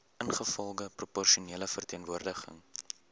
ingevolge proporsionele verteenwoordiging